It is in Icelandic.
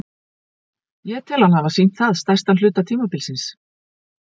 Ég tel hann hafa sýnt það stærstan hluta tímabilsins.